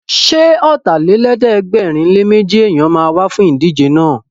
Ṣé Ọ̀tàlélẹ̀ẹ́dẹ́gbẹ̀rinléméjì èèyàn ma wá fún ìdíje náà?